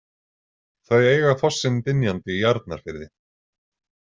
Þau eiga fossinn Dynjandi í Arnarfirði.